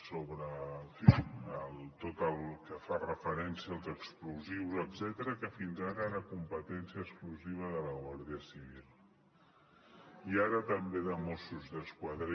sobre en fi tot el que fa referència als explosius etcètera que fins ara era competència exclusiva de la guàrdia civil i ara també de mossos d’esquadra